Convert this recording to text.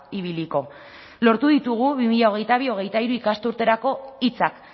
ibiliko lortu ditugu bi mila hogeita bi hogeita hiru ikasturterako hitzak